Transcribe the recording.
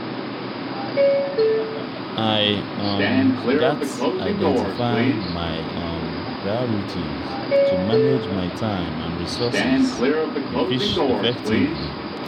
i um gats identify my um priorities to manage my time and resources effectively.